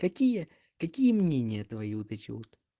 какие какие мнения твои вот эти вот